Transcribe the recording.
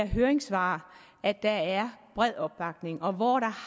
høringssvar at der er bred opbakning og hvor der